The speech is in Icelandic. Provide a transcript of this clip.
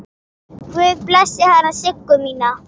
Guð blessi hana Siggu mína.